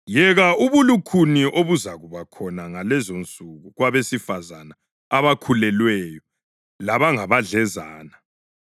Yeka ubulukhuni obuzakuba khona ngalezonsuku kwabesifazane abakhulelweyo labangabadlezane!